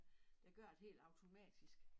Der gør det helt automatisk